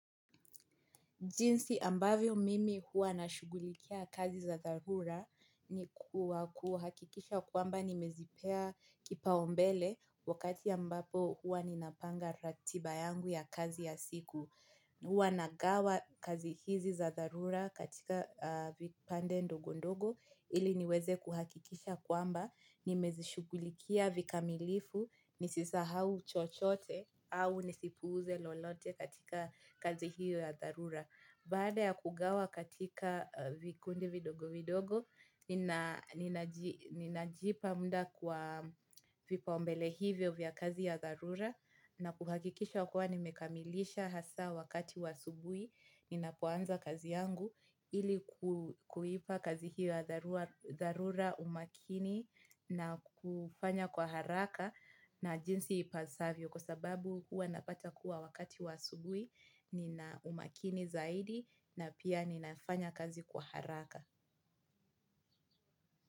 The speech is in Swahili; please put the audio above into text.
Jinsi ambavyo mimi huwa na shughulikia kazi za dharura ni kuhakikisha kwamba nimezipea kipaumbele wakati ambapo huwa ninapanga ratiba yangu ya kazi ya siku. Huwa nagawa kazi hizi za dharura katika vipande ndogo ndogo ili niweze kuhakikisha kwamba nimezishughulikia vikamilifu nisisahau chochote au nisipuuze lolote katika kazi hiyo ya dharura. Baada ya kugawa katika vikundi vidogo vidogo, ninajipa mda kwa vipaumbele hivyo vya kazi ya dharura na kuhakikisha kuwa nimekamilisha hasa wakati wa asubuhi, ninapoanza kazi yangu ili kuipa kazi hiyo ya dharura umakini na kufanya kwa haraka na jinsi ipasavyo. Kwa sababu hua napata kuwa wakati wa asubuhi, ninaumakini zaidi na pia ninafanya kazi kwa haraka.